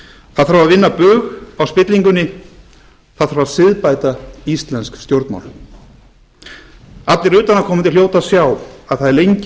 það þarf að vinna bug á spillingunni það þarf að siðbæta íslensk stjórnmál allir utanaðkomandi hljóta að sjá að það er lengi